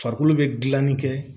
Farikolo bɛ gilanni kɛ